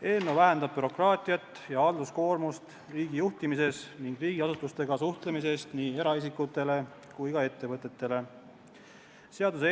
Eelnõu vähendab bürokraatiat ja halduskoormust riigi juhtimises ning nii eraisikute kui ka ettevõtete suhtlemises riigiasutustega.